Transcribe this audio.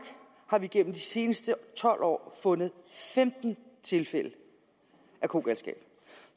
har vi gennem de seneste tolv år fundet femten tilfælde af kogalskab